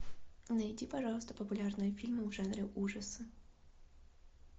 найди пожалуйста популярные фильмы в жанре ужасы